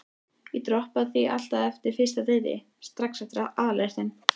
Ég droppaði því alltaf á fyrsta deiti, strax eftir aðalréttinn.